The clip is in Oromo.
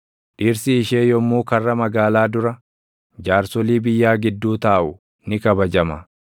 Dhirsi ishee yommuu karra magaalaa dura, jaarsolii biyyaa gidduu taaʼu ni kabajama.